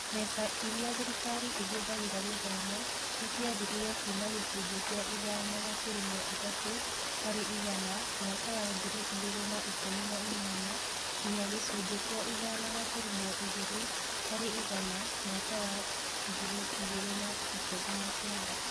Mbeca iria thirikari ĩhũthagĩra gĩthomo nĩ ciathirire kuuma gĩcunjĩ kĩa ithano gaturumo ithatũ harĩ igana mwaka wa ngiri igĩrĩ na ikũmi na inyanya nginya gĩcunjĩ kĩa ithano gaturumo igĩrĩ harĩ igana mwaka wa mwaka wa ngiri igĩrĩ na ikũmi na kenda